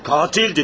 Qatil dedim.